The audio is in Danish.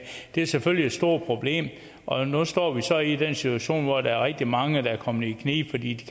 det er selvfølgelig et stort problem og nu står vi så i den situation hvor der er rigtig mange der er kommet i knibe fordi de